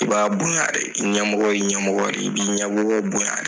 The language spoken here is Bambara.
I b'a bonya de i ɲɛmɔgɔ ye ɲamɔgɔ de i bɛ ɲamɔgɔ bonya de